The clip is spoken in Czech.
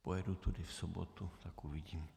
Pojedu tudy v sobotu, tak uvidím.